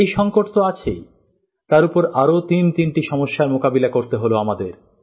এই সংকট তো আছেই তার উপর আরও তিন তিনটি সমস্যার মোকাবিলা করতে হল আমাদের